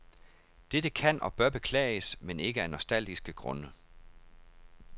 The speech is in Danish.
Dette kan og bør beklages, men ikke af nostalgiske grunde.